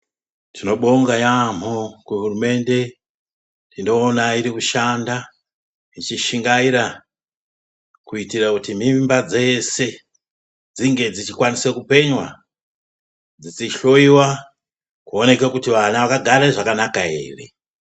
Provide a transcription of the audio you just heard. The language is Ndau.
Tinobonga yamho kuhurumende tinoona iri kushanda ichishingaira kuitira kuti mimba dzese dzinge dzichikwanise kupenywa dzichihloiwa kuone kuti vana vakagara zvakanaka ere.